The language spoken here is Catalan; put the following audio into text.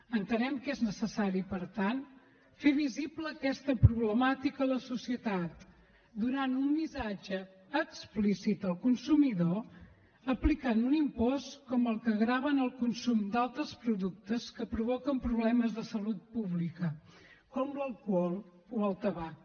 entenem que és necessari per tant fer visible aquesta problemàtica a la societat i donar un missatge explícit al consumidor aplicant un impost com el que grava el consum d’altres productes que provoquen problemes de salut pública com l’alcohol o el tabac